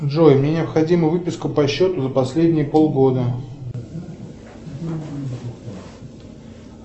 джой мне необходима выписка по счету за последние полгода